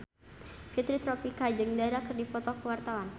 Fitri Tropika jeung Dara keur dipoto ku wartawan